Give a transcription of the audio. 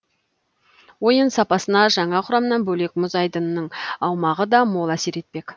ойын сапасына жаңа құрамнан бөлек мұз айдынның аумағы да мол әсер етпе